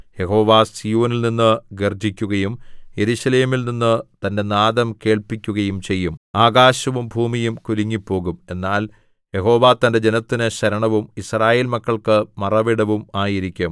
യഹോവ സീയോനിൽനിന്നു ഗർജ്ജിക്കുകയും യെരൂശലേമിൽ നിന്നു തന്റെ നാദം കേൾപ്പിക്കുകയും ചെയ്യും ആകാശവും ഭൂമിയും കുലുങ്ങിപ്പോകും എന്നാൽ യഹോവ തന്റെ ജനത്തിന് ശരണവും യിസ്രായേൽ മക്കൾക്ക് മറവിടവും ആയിരിക്കും